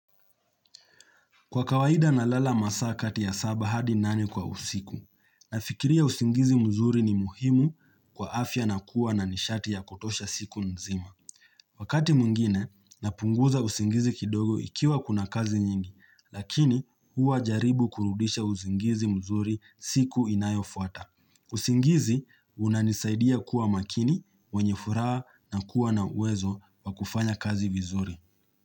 Kwa kawaida na lala masaa kati ya saba hadi nane kwa usiku, nafikiria usingizi mzuri ni muhimu kwa afya na kuwa na nishati ya kutosha siku nzima. Wakati mwingine, napunguza usingizi kidogo ikiwa kuna kazi nyingi, lakini huwa jaribu kurudisha usingizi mzuri siku inayo fuata. Usingizi, unanisaidia kuwa makini, wenye furaha na kuwa na uwezo wa kufanya kazi vizuri.